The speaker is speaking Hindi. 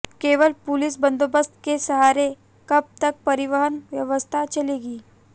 केवल पुलिस बंदोबस्त के सहारे कब तक परिवहन व्यवस्था चलेगी